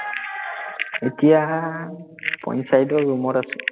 এতিয়া, পঞ্চায়তৰ ৰুমত আছো